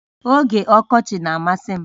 Oge ọkọchị na-amasị m